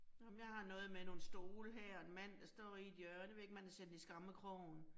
Nåh men jeg har noget med nogle stole her, og en mand, der står i et hjørne ved ikke, om han er sendt i skammekrogen